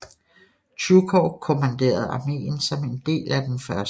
Tjujkov kommanderede arméen som en del af den 1